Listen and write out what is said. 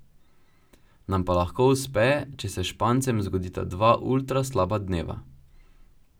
Nam pa lahko uspe, če se Špancem zgodita dva ultra slaba dneva.